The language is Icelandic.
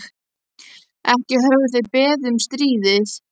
Ekki höfðu þeir beðið um stríðið.